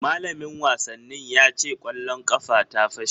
Malamin wasannin ya ce kwallon ƙafa ta fashe